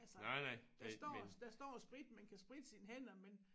Altså der står der står sprit man kan spritte sine hænder men